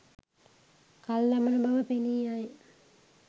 කල් දමන බව පෙනීයයි.